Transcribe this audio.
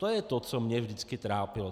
To je to, co mě vždycky trápilo.